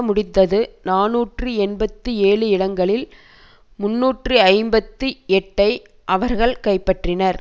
முடிந்தது நாநூற்று எண்பத்தி ஏழு இடங்களில் முன்னூற்று ஐம்பத்தி எட்டுஐ அவர்கள் கைப்பற்றினர்